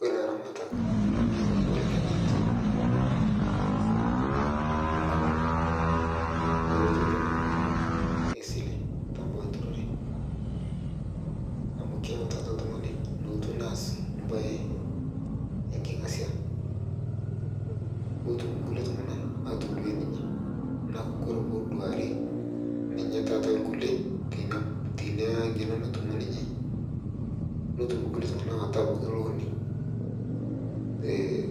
Ore elaramatak keyau nkibelekenyat kumok esile tee Kuna ambunini naitambua enturore amu keeya nelotu oltung'ani neas mbae enkingasia netum iltung'ana atudu enenye ore pee eduari irkulie teina ng'eno naiterua ninye netum irkulie atabaiki loani pee